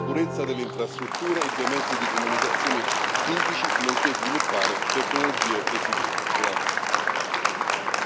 È importante garantire la sicurezza delle infrastrutture e dei mezzi di comunicazione critici, nonché sviluppare tecnologie resilienti.